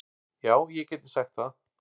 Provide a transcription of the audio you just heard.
Já, ég gæti sagt það.